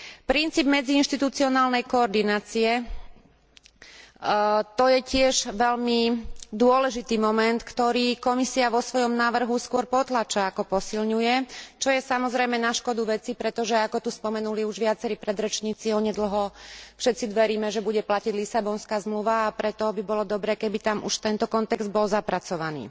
Princíp medziinštitucionálnej koordinácie to je tiež veľmi dôležitý moment, ktorý Komisia vo svojom návrhu skôr potláča, ako posilňuje, čo je samozrejme na škodu veci, pretože ako tu spomenuli už viacerí predrečníci, onedlho všetci veríme, že bude platiť Lisabonská zmluva, a preto by bolo dobré, keby tam už tento kontext bol zapracovaný.